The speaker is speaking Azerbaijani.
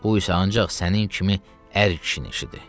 Bu isə ancaq sənin kimi ər kişinin işidir.